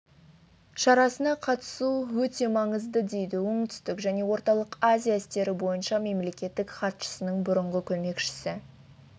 шарасына қатысу өте маңызды дейді оңтүстік және орталық азия істері бойынша мемлекеттік хатшысының бұрынғы көмекшісі